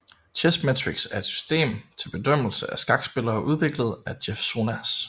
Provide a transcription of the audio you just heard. Chessmetrics er et system til bedømmelse af skakspillere udviklet af Jeff Sonas